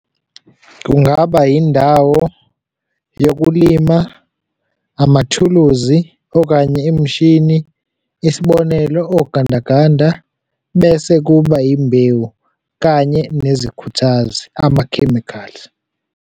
Kungaba yindawo yokulima, amathuluzi, okanye imishini, isibonelo, ogandaganda bese kuba imbewu, kanye nezikhuthazi amakhemikhali.